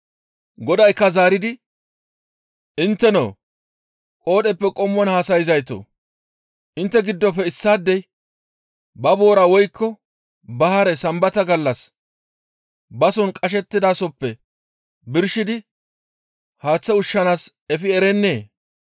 Godaykka zaaridi, «Intteno qoodheppe qommon haasayzaytoo! Intte giddofe issaadey ba boora woykko ba hare Sambata gallas bason qashettidasoppe birshidi haaththe ushshanaas efi erennee?